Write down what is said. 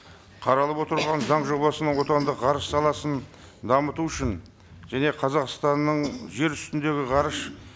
қаралып отырған заң жобасының отандық ғарыш саласын дамыту үшін және қазақстанның жер үстіндегі ғарыш